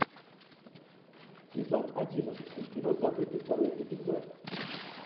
сезон одиннадцатый кино забытый второй эпизод